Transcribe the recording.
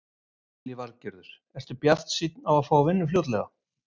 Lillý Valgerður: Ertu bjartsýnn á að fá vinnu fljótlega?